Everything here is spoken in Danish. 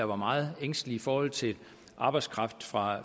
var meget ængstelig i forhold til arbejdskraften fra